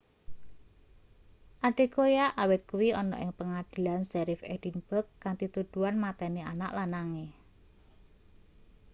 adekoya awit kuwi ana ing pengadilan sheriff edinburgh kanthi tuduhan mateni anak lanange